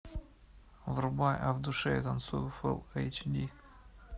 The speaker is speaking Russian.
врубай а в душе я танцую фулл эйч ди